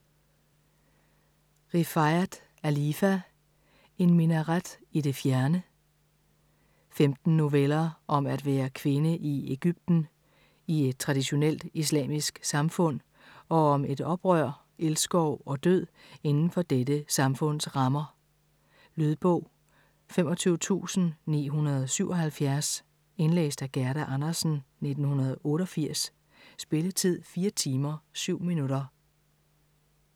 Rifaat, Alifa: En minaret i det fjerne Femten noveller om at være kvinde i Egypten, i et traditionelt islamisk samfund, og om oprør, elskov og død inden for dette samfunds rammer. Lydbog 25977 Indlæst af Gerda Andersen, 1988. Spilletid: 4 timer, 7 minutter.